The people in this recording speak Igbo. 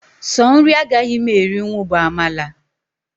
Sọ nri agaghị m erinwu bụ amala